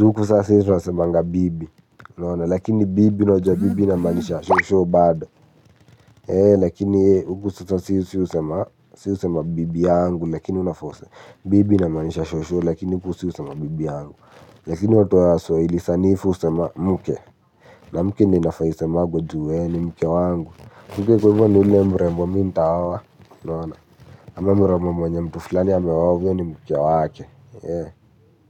huku sasa hizo nisemanga bibi. Lakini bibi unajua bibi inamaanisha shosho bado. Lakini huku sasa si husema bibi yangu lakini unafa use bibi inamaanisha shosho lakini huku si husema bibi yangu. Lakini watu wa swahili sanifu husema mke. Na mke ndio inafaa isemagwe ju we ni mke wangu. Mke kwa hivyo ni ule mrembo mi ntaoa unaona ama mrembo mwenye mtu fulani ameoa huyo ni mke wake.